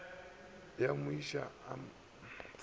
ya mo šia a sa